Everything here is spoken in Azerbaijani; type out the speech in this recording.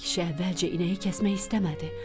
Kişi əvvəlcə inəyi kəsmək istəmədi.